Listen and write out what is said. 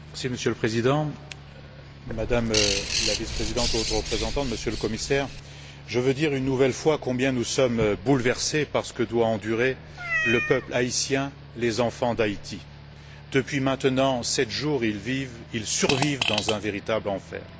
Monsieur le Président, Madame la Vice présidente et Haute représentante, Monsieur le Commissaire, je veux dire, une nouvelle fois, combien nous sommes bouleversés par ce que doivent endurer le peuple haïtien, les enfants d'Haïti. Depuis maintenant sept jours, ils vivent, ils survivent dans un véritable enfer.